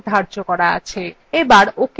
এবার ok button click করুন